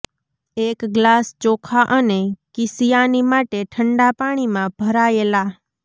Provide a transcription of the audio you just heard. એક ગ્લાસ ચોખા અને કીશિયાની માટે ઠંડા પાણીમાં ભરાયેલા